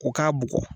U k'a bugɔ